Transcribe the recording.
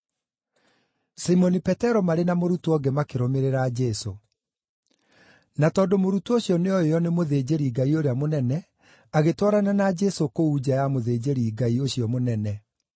Simoni Petero marĩ na mũrutwo ũngĩ makĩrũmĩrĩra Jesũ. Na tondũ mũrutwo ũcio nĩoĩo nĩ mũthĩnjĩri-Ngai ũrĩa mũnene, agĩtwarana na Jesũ kũu nja ya mũthĩnjĩri-Ngai ũcio mũnene.